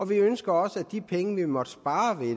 vi ønsker også at de penge vi måtte spare